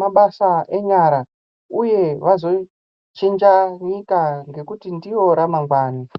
mabasa enyara uye kuti vazochinja nyika ngekuti ndivo ramangwani